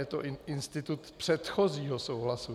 Je to "institut předchozího souhlasu".